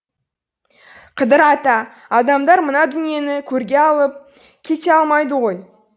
қыдыр ата адамдар мына дүниені көрге алып кете алмайды ғой